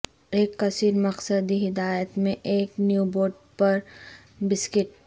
ایک کثیر مقصدی ہدایت میں ایک نیبوڈ پر بسکٹ